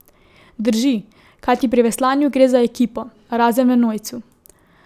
Drži, kajti pri veslanju gre za ekipo, razen v enojcu.